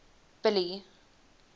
billy